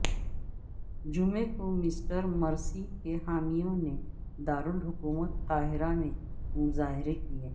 جمعے کو Mister Morsi کے حامیوں نے دارالحکومت قاہرہ میں مظاہرے کیے